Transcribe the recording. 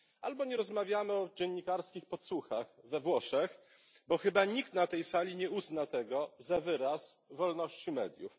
Ani nie rozmawiamy o dziennikarskich podsłuchach we Włoszech, bo chyba nikt na tej sali nie uzna tego za wyraz wolności mediów.